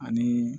Ani